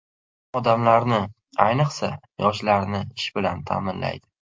Odamlarni, ayniqsa, yoshlarni ish bilan ta’minlaydi.